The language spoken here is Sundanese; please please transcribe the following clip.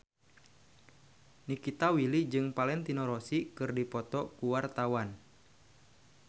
Nikita Willy jeung Valentino Rossi keur dipoto ku wartawan